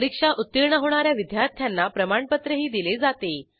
परीक्षा उत्तीर्ण होणा या विद्यार्थ्यांना प्रमाणपत्रही दिले जाते